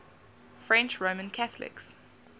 french roman catholics